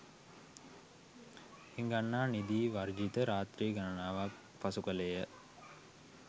හිඟන්නා නිදි වර්ජිත රාත්‍රී ගණනාවක් පසු කළේය.